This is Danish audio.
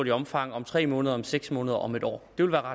i omfang om tre måneder seks måneder og om en år